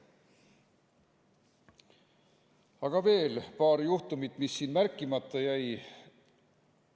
Aga veel paar juhtumit, mis siin märkimata jäid.